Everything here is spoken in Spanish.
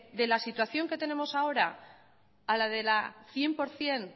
de la situación que tenemos ahora a la de la cien por ciento